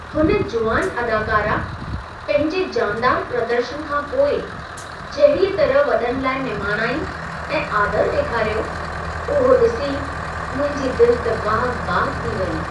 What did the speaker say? हुन जुवान अदाकारा पंहिंजे जानदार प्रदर्शनु खां पोइ जहिड़ीअ तरह वॾनि लाइ निमाणाई ऐं आदर ॾेखारियो, उहो ॾिसी मुंहिंजी दिलि त बाग़-बाग़ थी वई।